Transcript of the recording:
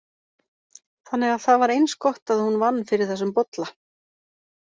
Þannig að það var eins gott að hún vann fyrir þessum bolla.